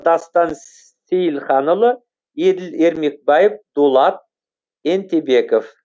дастан сейілханұлы еділ ермекбаев дулат ентебеков